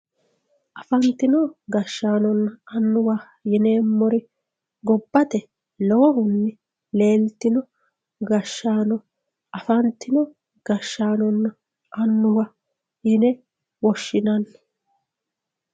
Afantino gashshaanonna annuwanna yineemmori gobbate lowohunni leeltino gashshaano afantino gashshaanonna annuwa yine woshshinanni.